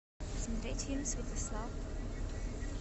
смотреть фильм святослав